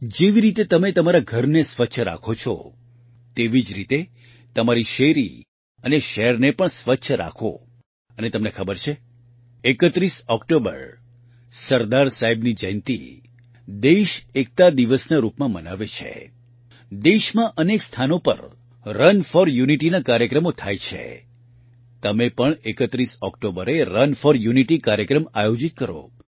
જેવી રીતે તમે તમારા ઘરને સ્વચ્છ રાખો છો તેવી જ રીતે તમારી શેરી અને શહેરને સ્વચ્છ રાખો અને તમને ખબર છે ૩૧ ઓકટોબર સરદાર સાહેબની જયંતિ દેશ એકતાદિવસના રૂપમાં મનાવે છે દેશમાં અનેક સ્થાનો પર રન ફોર યુનિટીના કાર્યક્રમો થાય છે તમે પણ ૩૧ ઓકટોબરે રન ફોર યુનિટી કાર્યક્રમ આયોજીત કરો